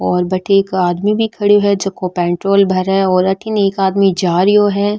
और बठ एक आदमी भी खड़ा है झको पेट्रोल भर और अठन एक आदमी जा रियो है।